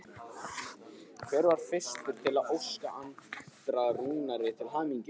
Hver var fyrstur til að óska Andra Rúnari til hamingju?